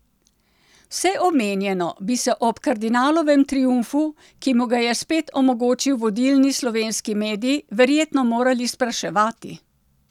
Vse omenjeno bi se ob kardinalovem triumfu, ki mu ga je spet omogočil vodilni slovenski medij, verjetno morali spraševati.